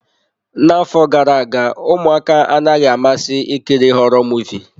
N'afọ gara aga, ụmụaka anaghị amasị ikiri họrọ Muvịị.